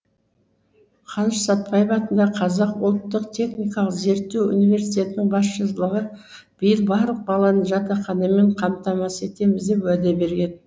қаныш сәтбаев атындағы қазақ ұлттық техникалық зерттеу университетінің басшылығы биыл барлық баланы жатақханамен қамтамасыз етеміз деп уәде берген